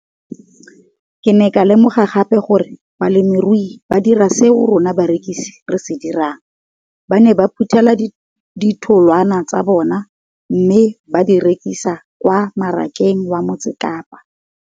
Ke ne ka lemoga gape gore balemirui ba dira seo rona barekisi re se dirang, ba ne ba phuthela ditholwana tsa bona mme ba di rekisa kwa marakeng wa Motsekapa.